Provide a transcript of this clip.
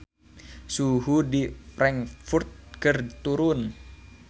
Suhu di Frankfurt keur turun